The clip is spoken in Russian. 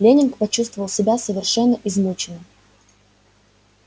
лэннинг почувствовал себя совершенно измученным